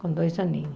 Com dois aninhos.